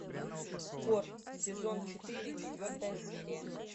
хор сезон четыре четвертая серия